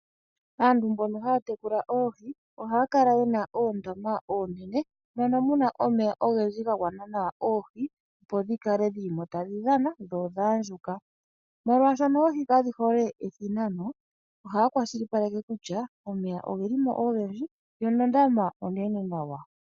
Aantu mbono haya tekula oohi ohaya kala yena oondama oonene mono muna omeya oohi opo dhikale dhilimo tadhi dhan dho odha andjuka ,molwaashoka oohi kadhi hole ethinano ohaya kwashilipaleke kutya omeya ogelimo ogendji yo nondama onene nawa.